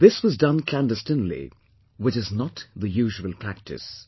This was done clandestinely, which is not the usual practice